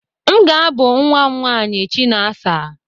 M ga-ábụ nnwa m nwaanyị Chinasa.